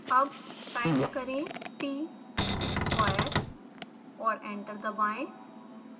अब टाइप करें tsquare और एंटर दबाएं